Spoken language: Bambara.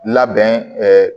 Labɛn